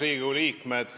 Riigikogu liikmed!